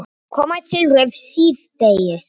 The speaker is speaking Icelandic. Koma til Rifs síðdegis